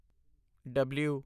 ਡਬਲੂ